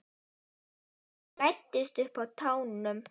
Læddist um á tánum.